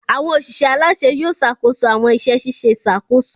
Awọn oṣiṣẹ alaṣẹ Yóò ṣakoso awọn iṣẹ ṣiṣe iṣakoso